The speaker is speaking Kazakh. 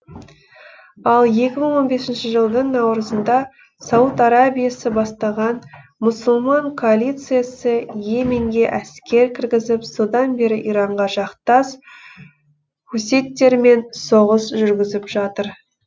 ал екі мың он бесінші жылдың наурызында сауд арабиясы бастаған мұсылман коалициясы и еменге әскер кіргізіп содан бері иранға жақтас хуситтермен соғыс жүргізіп жатыр